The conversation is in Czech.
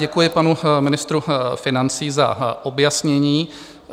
Děkuji panu ministrovi financí za objasnění.